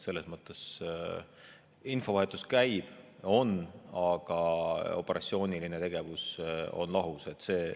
Infovahetus käib, aga operatsiooniline tegevus on lahus.